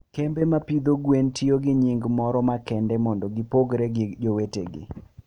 kembe ma pidho gwen tiyo gi nying moro makende mondo gipogre gi jowetegi.